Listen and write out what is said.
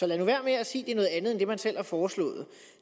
lad nu være med at sige at det man selv har foreslået